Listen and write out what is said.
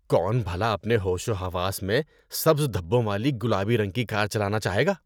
کون بھلا اپنے ہوش و حواس میں سبز دھبوں والی گلابی رنگ کی کار چلانا چاہے گا؟